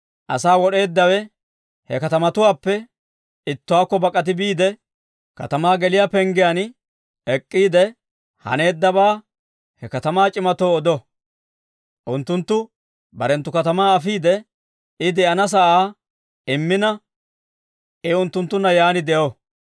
Asaa wod'eeddawe he katamatuwaappe ittuwaakko bak'ati biide, katamaa geliyaa penggiyaan ek'k'iide, haneeddabaa he katamaa c'imatoo odo. Unttunttu barenttu katamaa afiide, I de'ana sa'aa immina, I unttunttunna yaan de'o.